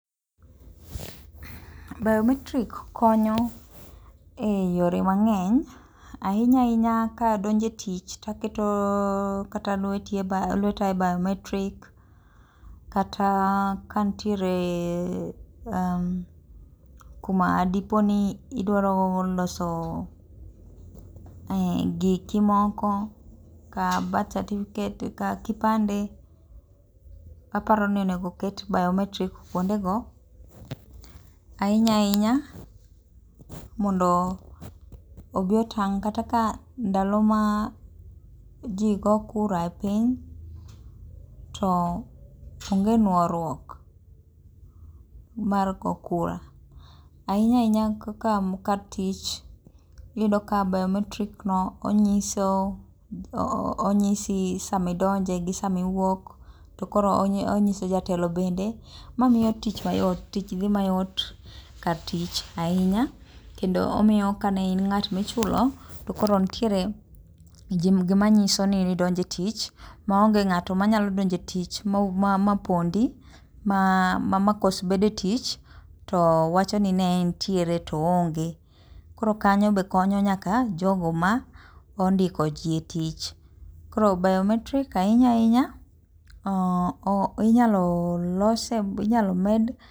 Biometrik konyo eyore mang'eny ahinya ahinya kadojo e tich to aketo lweta e biometrik kata kanitie kuma dipo ni idwaro loso giki moko kaka [cs6birth certzificate, kipande, aparo ni onego oket biometrik kuondego mondo obi otang' kaka ndalo ma ji goyo kura kora e piny to onge nuoruok mar goyo kura, ahinya ahinya kaka kar tich iyudo ka biometrik no onyiso onyisi sama idonje gi sama iwuok to onyiso jatelo bende momiyo tich mayot omiyo tich dhi mayot kar tich ahinya kendo omiyo kane in ng'at michulo to koro nitiere gima nyiso ni idonje etich maonge ng'at manyalo donjo e tich ma pondi makos bedo e tich to wacho ni ne entiere to ne oonge. Koro mano bende konyo nyaka jogo mondiko ji e tich. Koro biometrik ahinya ahinya inyalo lose inyalo med